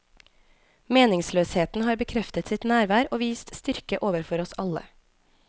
Meningsløsheten har bekreftet sitt nærvær og vist styrke overfor oss alle.